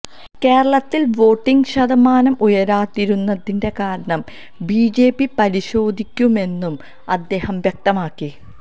കേരളത്തില് വോട്ടിങ് ശതമാനം ഉയരാതിരുന്നതിന്റെ കാരണം ബിജെപി പരിശോധിക്കുമെന്നും അദ്ദേഹം വ്യക്തമാക്കി